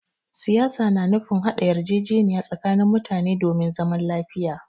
Siyasa na nufin haɗa yarjejeniya tsakanin mutane domin zaman lafiya.